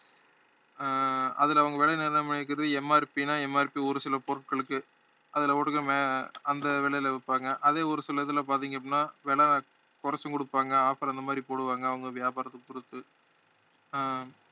ஆஹ் அதுல அவங்க விலை நிர்ணயம் பண்ணிருக்கறது MRP ன்னா MRP ஒரு சில பொருட்களுக்கு அதுல அந்த விலையில விற்பாங்க அதே ஒரு சில இதுல பார்த்தீங்க அப்படின்னா விலை குறைச்சும் கொடுப்பாங்க offer அந்த மாதிரி போடுவாங்க அவங்க வியாபாரத்த பொருத்து